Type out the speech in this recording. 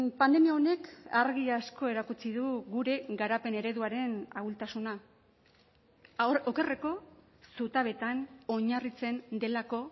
pandemia honek argi asko erakutsi du gure garapen ereduaren ahultasuna okerreko zutabetan oinarritzen delako